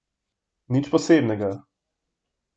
Nič posebnega.